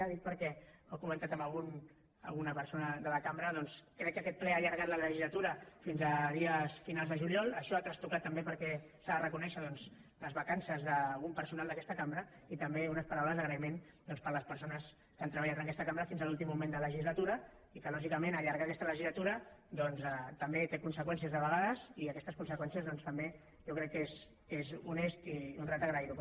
ho dic perquè ho ha comentat alguna persona de la cambra doncs crec que aquest ple ha allargat la legislatura fins a dies finals de juliol això ha trastocat també perquè s’ha de reconèixer doncs les vacances d’algun personal d’aquesta cambra i també unes paraules d’agraïment per a les persones que han treballat en aquesta cambra fins a l’últim moment de legislatura i que lògicament allargar aquesta legislatura també té conseqüències de vegades i aquestes conseqüències doncs també jo crec que és honest i honrat agrair ho